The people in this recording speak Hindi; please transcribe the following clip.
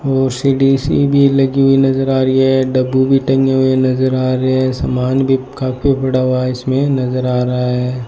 और सीढी सी भी लगी हुई नजर आ रही है डब्बू भी टंगे हुए नजर आ रहे है सामान भी काफी पड़ा हुआ इसमें नजर आ रहा है।